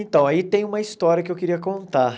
Então, aí tem uma história que eu queria contar.